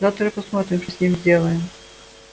завтра посмотрим что с ним сделаем